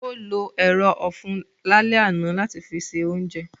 Ó lo ero ofun lálẹ́ àná láti fi ṣe oúnjẹ